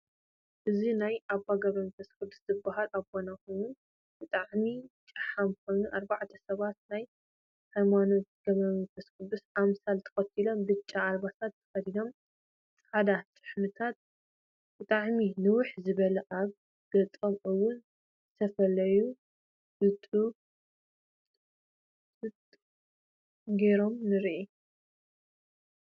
እዚ ናይ ኣበ ገርፈስ ቁዱስ ዝበሃል ኣበና ኮይኑ ብጣዓሚ ጫሓም ኮይኑ ኣርባዕተ ሰባት ናይ ሃይማኖት ገረፈስ ቁድስ ኣምሳል ተከትሎም ብጫ ኣልባሳት ተከዲኖም ፃዕዳ ጭሕምታት ብጣዓሚ ንውሕ ዝበለ ኣብ ገፀም እውን ዝተፈላለዩ ብጡጥ ገይሮም ንርኢ።